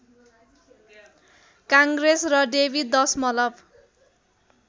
काङ्ग्रेस र डेवी दशमलव